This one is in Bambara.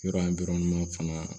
Yɔrɔ in fana